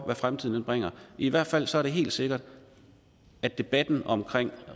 hvad fremtiden bringer i hvert fald er det helt sikkert at debatten om